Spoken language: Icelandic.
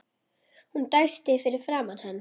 Hún dæsti fyrir framan hann.